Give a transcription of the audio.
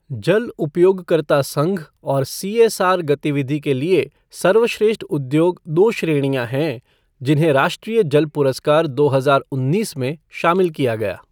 जल उपयोगकर्ता संघ और सीएसआर गतिविधि के लिए सर्वश्रेष्ठ उद्योग दो श्रेणियां हैं जिन्हें राष्ट्रीय जल पुरस्कार दो हजार उन्नीस में शामिल किया गया।